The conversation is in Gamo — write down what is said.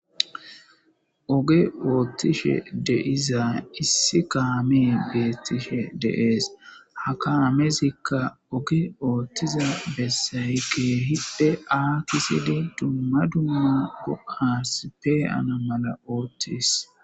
Oge oothishe de7iza issi kaamey beetishede7ees ha kaamezika oge othhiza bessay keehipe aakisidi dumma dumma go7as pe7ana mala othees.